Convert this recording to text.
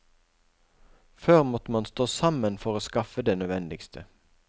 Før måtte man stå sammen for å skaffe det nødvendigste.